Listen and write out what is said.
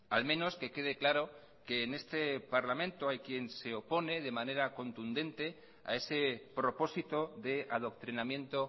al menos que quede claro que en este parlamento hay quien se opone de manera contundente a ese propósito de adoctrinamiento